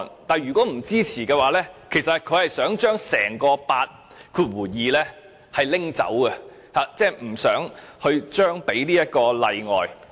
但是，如果不支持《條例草案》的同事，便想將整項第82條刪除，即不想給予這個例外。